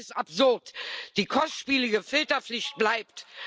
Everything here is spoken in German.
Das ist absurd. Die kostspielige Filterpflicht bleibt.